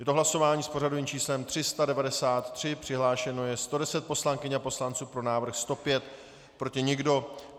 Je to hlasování s pořadovým číslem 393, přihlášeno je 110 poslankyň a poslanců, pro návrh 105, proti nikdo.